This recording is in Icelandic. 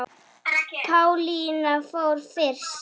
Pálína fór fyrst.